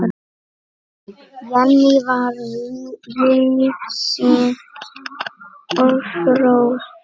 Jenný var víðsýn og fróð.